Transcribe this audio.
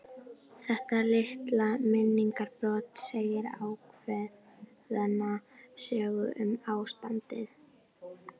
Þetta litla minningarbrot segir ákveðna sögu um ástandið.